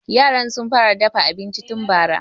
Yaran sun fara dafa abinci tun bara.